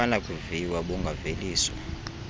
abunakuviwa d bungaveliswa